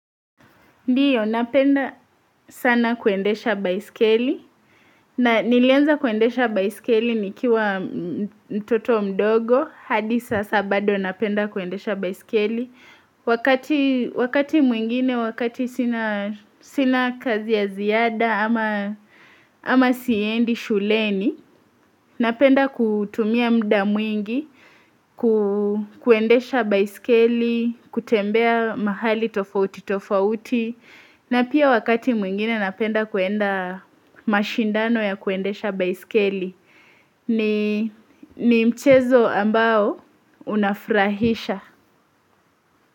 Ndiyo napenda sana kuendesha baiskeli na nilianza kuendesha baiskeli nikiwa mtoto mdogo hadi sasa bado napenda kuendesha baiskeli. Wakati mwingine, wakati sina kazi ya ziada ama siendi shuleni, napenda kutumia mda mwingi, kuendesha baiskeli, kutembea mahali tofauti tofauti. Na pia wakati mwingine napenda kuenda mashindano ya kuendesha baiskeli ni mchezo ambao unafrahisha.